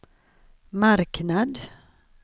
marknad